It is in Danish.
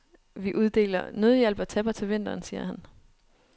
Vi uddeler nødhjælp og tæpper til vinteren, siger han.